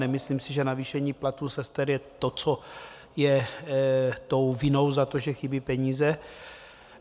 Nemyslím si, že navýšení platů sester je to, co je tou vinou za to, že chybí peníze.